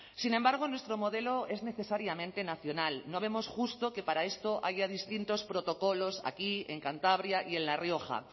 sin embargo nuestro modelo es necesariamente nacional no vemos justo que para esto haya distintos protocolos aquí en cantabria y en la rioja